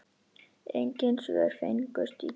Engin svör fengust í gær.